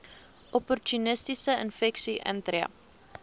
opportunistiese infeksies intree